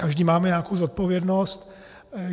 Každý máme nějakou zodpovědnost.